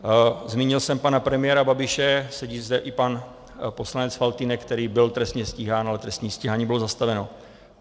Zmínil jsem pana premiéra Babiše, sedí zde i pan poslanec Faltýnek, který byl trestně stíhán, ale trestní stíhání bylo zastaveno.